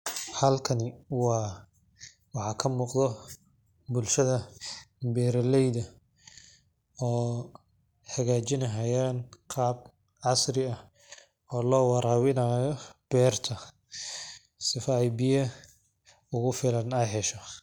Xalkani wa waxa kamugdho, bulshadha beraleydha, oo xahajini hayaan qab casri ah, oo lowarawinayo berta, sifa ay biya ugufilan ay xesho.